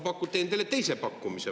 Ma teen teile teise pakkumise.